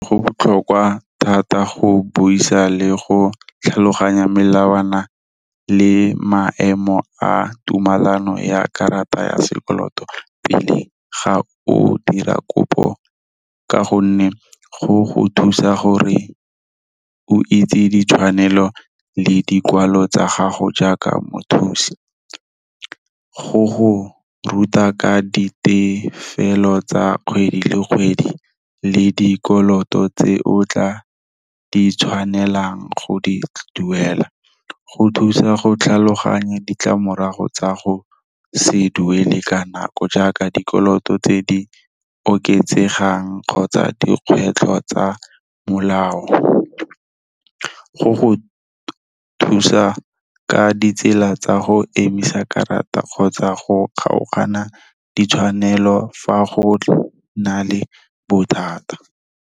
Go botlhokwa thata go buisa le go tlhaloganya melawana le maemo a tumelano ya karata ya sekoloto pele ga o dira kopo. Ka gonne go go thusa gore o itse ditshwanelo le dikwalo tsa gago jaaka mothusi. Go go ruta ka ditefelelo tsa kgwedi le kgwedi, le dikoloto tse o tla di tshwanelang go di duela. Go thusa go tlhaloganya ditlamorago tsa go se duele ka nako, jaaka dikoloto tse di oketsegang kgotsa dikgwetlho tsa molao. Go go thusa ka ditsela tsa go emisa karata kgotsa go kgaogana ditshwanelo fa go na le bothata.